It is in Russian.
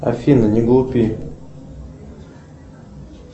афина не глупи